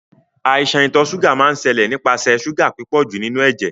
Àìsan ìtò sugar máa n sẹ́lẹ̀ nípasẹ̀ sugar pípọ̀jù nínú éjé